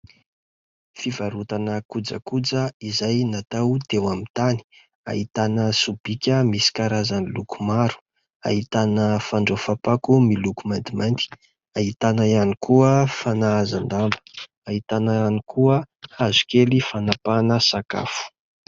Fivarotana kojakoja izay natao teo amin'ny tany. Ahitana sobika misy karazany loko maro ; ahitana fandraofam-pako miloko maintimainty ; ahitana ihany koa fanahazan-damba ; ahitana ihany koa hazo kely fanapahana sakafo.